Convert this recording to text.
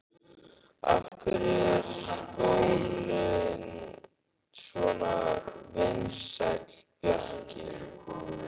Af hverju er skólinn svona vinsæll, Bjarki?